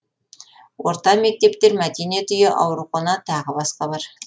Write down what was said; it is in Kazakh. орта мектептер мәдениет үйі аурухана тағы басқа бар